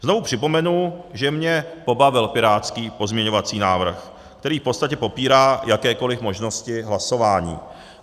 Znovu připomenu, že mě pobavil pirátský pozměňovací návrh, který v podstatě popírá jakékoliv možnosti hlasování.